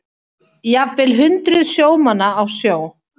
Jafnvel hundruð sjómanna á sjó